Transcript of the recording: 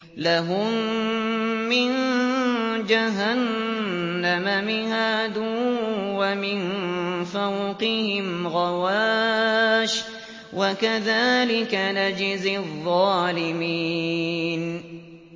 لَهُم مِّن جَهَنَّمَ مِهَادٌ وَمِن فَوْقِهِمْ غَوَاشٍ ۚ وَكَذَٰلِكَ نَجْزِي الظَّالِمِينَ